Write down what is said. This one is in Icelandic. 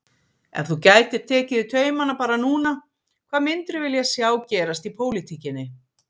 Ef þú gætir tekið í taumana bara núna hvað myndirðu vilja sjá gerast í pólitíkinni?